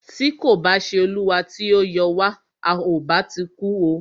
Tí kò bá ṣé olúwa tí o yọ wa,à o bá ti kú o.